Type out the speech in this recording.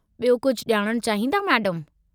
ॿियो कुझु ॼाणणु चाहींदा, मैडमु?